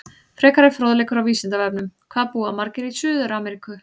Frekari fróðleikur á Vísindavefnum: Hvað búa margir í Suður-Ameríku?